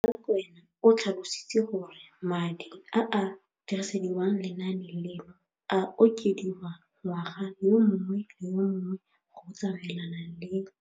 Rakwena o tlhalositse gore madi a a dirisediwang lenaane leno a okediwa ngwaga yo mongwe le yo mongwe go tsamaelana le